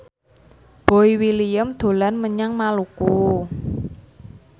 Boy William dolan menyang Maluku